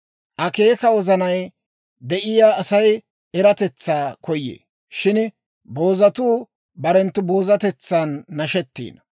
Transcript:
Akeekiyaa wozanay de'iyaa Asay eratetsaa koyee; shin boozatuu barenttu boozatetsan nashettiino.